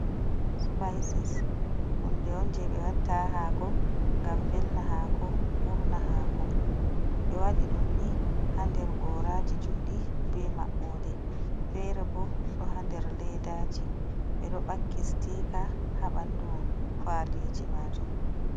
Sipises hunde on je ɓe watta ha hako ngam velna hako, urna hako, ɓe waɗi ɗum ni ha nder goraji juɗɗi be mabɓode, fere bo ɗo ha nder ledaji ɓeɗo ɓakki stikaji ha ɓandu faliji majum.